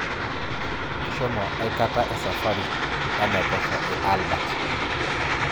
Ishomo akata esafari enaiposha e Albert?